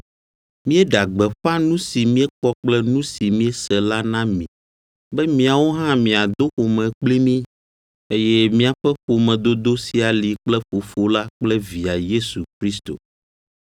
Míeɖea gbeƒã nu si míekpɔ kple nu si míese la na mi be miawo hã miado ƒome kpli mí, eye míaƒe ƒomedodo sia li kple Fofo la kple Via Yesu Kristo.